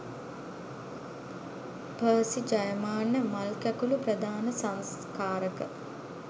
Percy Jayamanna මල්කැකුළු ප්‍රධාන සංස්කාරක.